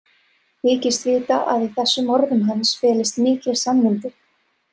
Þykist vita að í þessum orðum hans felist mikil sannindi.